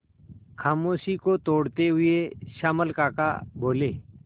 खामोशी को तोड़ते हुए श्यामल काका बोले